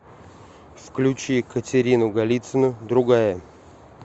включи катерину голицыну другая